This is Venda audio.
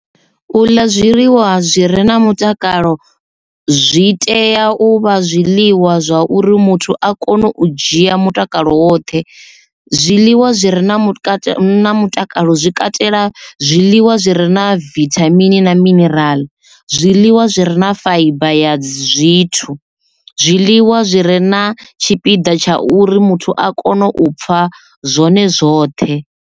U ḽa zwiḽiwa zwi re na mutakalo zwi tea u vha zwiḽiwa zwa uri muthu a kone u dzhia mutakalo woṱhe zwiḽiwa zwi re na mutakalo zwi katela zwiḽiwa zwi re na vithamini na minirala zwiḽiwa zwi re na faiba ya zwithu zwiḽiwa zwi re na tshipiḓa tsha uri muthu a kone u pfha zwone zwoṱhe.